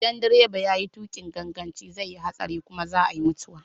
Idan direba ya yi tuƙin ganganci zai yi hatsari kuma za a iya mutuwa.